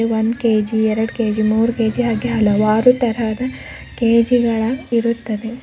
ಒಂದು ಕೆ_ಜಿ ಎರಡು ಕೆ_ಜಿ ಮೂರು ಕೆ_ಜಿ ಹಲವಾರು ತರಹದ ಕೇಜಿಗಳ ಇರುತ್ತವೆ.